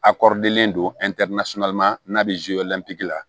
A kɔrilen don n'a bɛ la